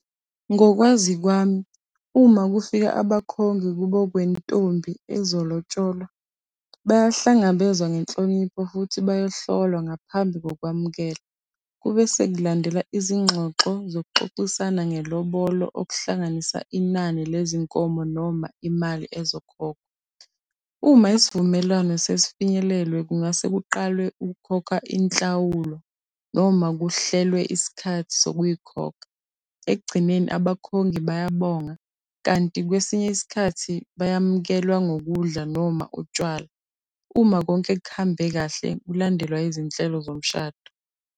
Ngokwazi kwami, uma kufika abakhongi kubo kwentombi ezolotsholwa, bayahlangabezwa ngenhlonipho futhi bayahlolwa ngaphambi kokwamukela. Kube sekulandela izingxoxo zokuxoxisana ngelobolo okuhlanganisa inani lezinkomo noma imali ezokhokhwa. Uma isivumelwano sesifinyelelwe kungase kuqalwe ukukhokha inhlawulo noma kuhlelwe isikhathi sokuyikhokha. Ekugcineni abakhongi bayabonga kanti kwesinye isikhathi bayamukelwa ngokudla noma utshwala. Uma konke kuhambe kahle kulandelwa izinhlelo zomshado.